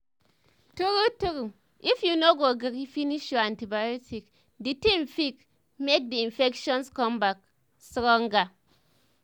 true true if you no gree finish your antibiotics the thing fig make the infections come back stronger